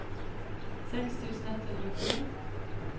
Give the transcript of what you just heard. seks tusen ett hundre og tre